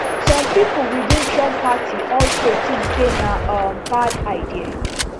some pipo within trump party also think say na um bad idea